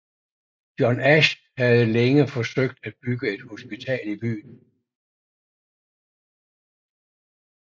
John Ash havde længe forsøgt at bygge et hospital i byen